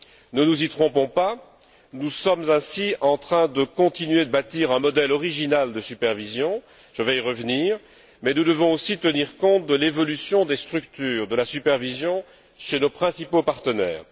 Ne nous y trompons pas, nous sommes ainsi en train de continuer de bâtir un modèle original de supervision je vais y revenir mais nous devons aussi tenir compte de l'évolution des structures de la supervision chez nos principaux partenaires.